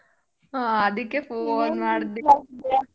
ಹೊ ಅದಕ್ಕೆ .